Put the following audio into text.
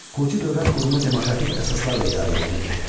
Kuti dövlət qurumu demokratik əsaslarla idarə edilirdi.